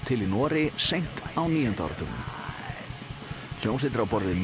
til í Noregi seint á níunda áratugnum hljómsveitir á borð við